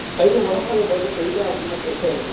கை உடம்ப விட கைதான் அதிகமா பெரிசா இருக்குது